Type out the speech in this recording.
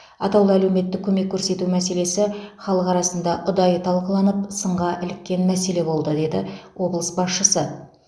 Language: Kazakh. атаулы әлеуметтік көмек көрсету мәселесі халық арасында ұдайы талқыланып сынға іліккен мәселе болды деді облыс басшысы